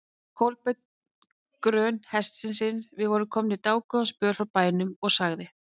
Kolbeinn grön hestinn sinn, við vorum komnir dágóðan spöl frá bænum, og sagði